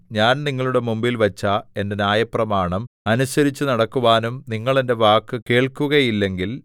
ഞാൻ നിങ്ങളുടെ മുമ്പിൽ വച്ച എന്റെ ന്യായപ്രമാണം അനുസരിച്ചുനടക്കുവാനും നിങ്ങൾ എന്റെ വാക്കു കേൾക്കുകയില്ലെങ്കിൽ